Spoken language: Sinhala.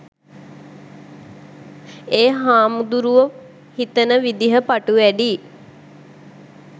එ හාමුදුරුවො හිතන විදිහ ප‍ටු වැඩි